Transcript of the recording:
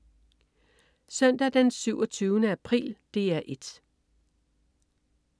Søndag den 27. april - DR 1: